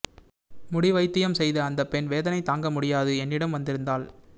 முடி வைத்தியம் செய்த அந்தப்பெண் வேதனை தாங்க முடியாது என்னிடம் வந்திருந்தாள்